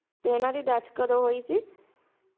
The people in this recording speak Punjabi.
ਤੇ ਇਹਨਾਂ ਦੀ death ਕਦੋਂ ਹੋਈ ਸੀ